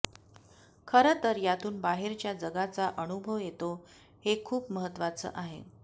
खरं तर यातून बाहेरच्या जगाचा अनुभव येतो हे खूप महत्त्वाचं आहे